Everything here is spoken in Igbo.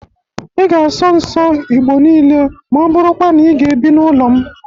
Ị ga-asọ nsọ Igbo niile ma ọ bụrụkwa na ị ga-ebi n'ụlọ m!